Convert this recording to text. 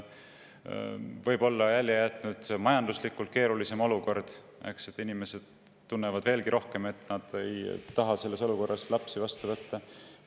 Võib-olla on oma jälje jätnud majanduslikult keerulisem olukord: inimesed tunnevad veelgi rohkem, et nad ei taha praeguses olukorras lapsi vastu võtta.